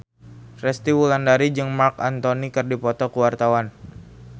Resty Wulandari jeung Marc Anthony keur dipoto ku wartawan